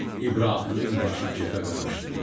İbrahimin başı kefə qarışdı.